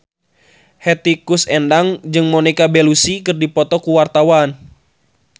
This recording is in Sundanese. Hetty Koes Endang jeung Monica Belluci keur dipoto ku wartawan